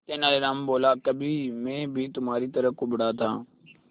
तेनालीराम बोला कभी मैं भी तुम्हारी तरह कुबड़ा था